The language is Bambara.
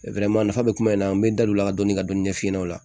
nafa bɛ kuma in na an bɛ da o la ka dɔni ka dɔni ɲɛf'i ɲɛna o la